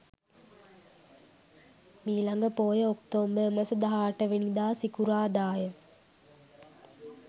මීළඟ පෝය ඔක්තෝබර් මස 18 වෙනිදා සිකුරාදා ය.